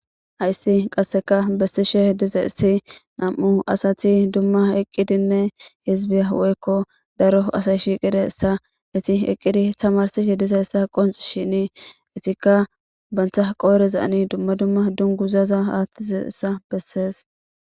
Hyssi qasseka bessishe diza issi nam'u asati dumma eqqidinne hizbiya weekko daro asay shiiqide essa iti eqqidi tamarsishe diza essa qonxi shini itikka bantha qooriza ani dumma dumma dunguzaza haattizessa bessees.